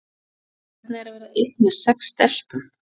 Og hvernig er að vera einn með sex stelpum?